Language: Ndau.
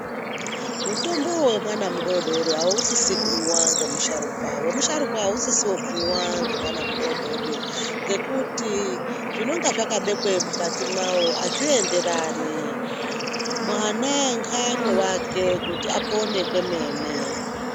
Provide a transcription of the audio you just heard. Mutombo wemwana mudodori ausisi kupuwa ngemusharuka wemusharuka ausisiwo kupuwa wemwana mudodori ngekuti zvinenga zvakabekwa mukati mwawo azvienderani mwana ngaamwe wakwe kuti apone kwemene.